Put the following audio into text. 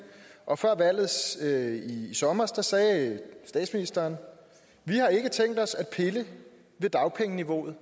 og før valget i sommer sagde statsministeren vi har ikke tænkt os at pille ved dagpengeniveauet